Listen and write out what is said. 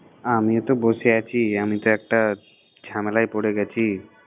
আমিও তো বসে আছি, আমি তো একটা ঝামেলায় পড়ে গেছি।